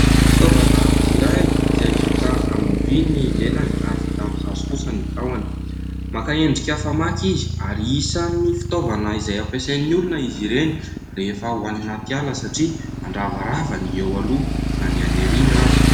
Fitaovana iray izay vita amin'ny vy ny lelany ary vita amin'ny hazo kosa ny tahony, maka endrika famaky izy, ary isan'ny fitaovana izay hampiasain'ny olona izy ireny rehefa ho any anaty ala satria mandravarava ny eo aloha na ny any aorina ary.